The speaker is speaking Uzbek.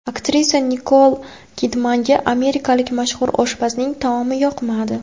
Aktrisa Nikol Kidmanga amerikalik mashhur oshpazning taomi yoqmadi .